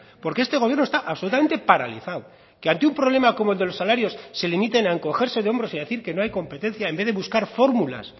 porque este gobierno está absolutamente paralizado que ante un problema como los salarios se limiten a encogerse de hombros y a decir que no hay competencia en vez de buscar fórmulas